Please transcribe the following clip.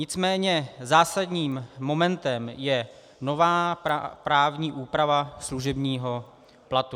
Nicméně zásadním momentem je nová právní úprava služebního platu.